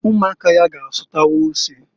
Umuaka ya ga asutawa ose.